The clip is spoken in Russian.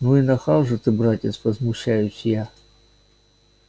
ну и нахал же ты братец возмущаюсь я